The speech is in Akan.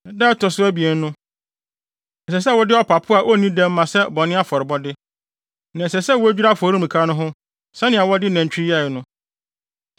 “Da a ɛto so abien no, ɛsɛ sɛ wode ɔpapo a onni dɛm ma sɛ bɔne afɔrebɔde, na ɛsɛ sɛ wodwira afɔremuka no ho sɛnea wɔde nantwi no yɛe no.